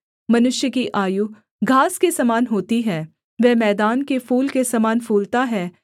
मनुष्य की आयु घास के समान होती है वह मैदान के फूल के समान फूलता है